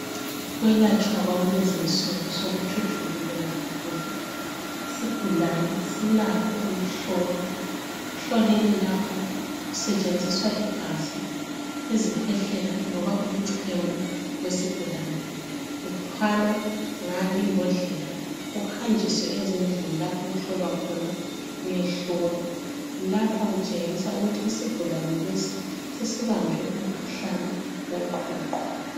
Ukwelatshwa kwakulezi insuku sekuthuthukile kakhulu. Isigulane silakho ukuhlolwa. Ekuhlolweni lapho kusetshenziswa igazi, izikhwehlela loba umchemo wesigulane. Uthwalwa ngale imbodlela uhanjiswe ezindlini lapho okuhlolwa khona uyehlolwa. Lapha kutshengisa ukuthi isigulane lesi sesibanjwe umkhuhlane woqhuqho.